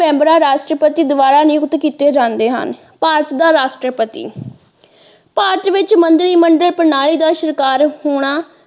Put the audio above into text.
ਮੈਂਬਰਾਂ ਰਾਸ਼ਟਰਪਤੀ ਦੁਆਰਾ ਨਿਯੁਕਤ ਕੀਤੇ ਜਾਂਦੇ ਹਨ ਭਾਰਤ ਦਾ ਰਾਸ਼ਟਰਪਤੀ ਭਾਰਤ ਵਿੱਚ ਮੰਤਰੀ ਮੰਡਲ ਪ੍ਰਣਾਲੀ ਦਾ ਸ਼ਿਕਾਰ ਹੋਣਾ।